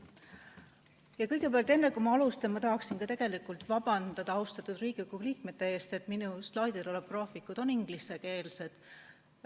Aga kõigepealt, enne kui ma alustan, tahaksin tegelikult vabandada austatud Riigikogu liikmete ees, et minu slaidil olevad graafikud on ingliskeelsed.